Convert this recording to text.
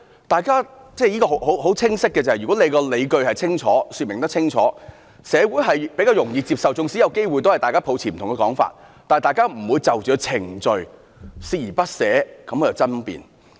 大家都很清晰，如果可以說清楚理據，社會比較容易接受，縱使大家抱持不同說法，但大家也不會就着程序而鍥而不捨地去爭辯。